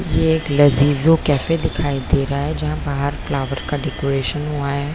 यह एक लगी जो काफी दिखाई दे रहा है बाहर फ्लावर का डेकोरेशन हुआ है।